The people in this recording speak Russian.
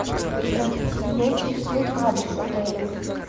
здравствуйте меня интересует адрес отеля